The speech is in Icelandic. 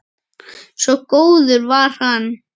Svo góður var hann.